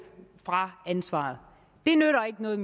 fra ansvaret det nytter ikke noget